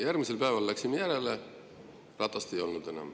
Järgmisel päeval läksime järele – ratast ei olnud enam.